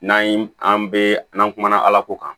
N'an yi an bɛ n'an kumana ala ko kan